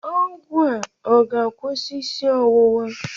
Ọgwụ a ọ ga-akwụsị isi ọwụwa?